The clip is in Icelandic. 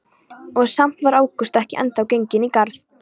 Og samt var ágúst ekki ennþá genginn í garð.